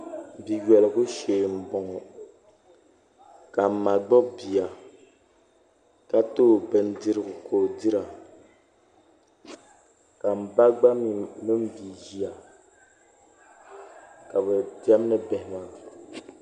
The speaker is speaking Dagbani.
Bia yolibu shee n boŋɔ ka ma gbubi bia ka too bindirigu ka o dira ka n ba gba mii mini bia ʒiya ka bi diɛmni bihi maa